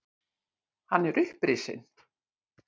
Hann er upprisinn.